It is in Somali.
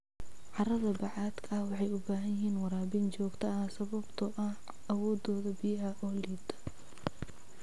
Carrada bacaadka ah waxay u baahan yihiin waraabin joogto ah sababtoo ah awooddooda biyaha oo liidata.